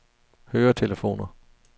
høretelefoner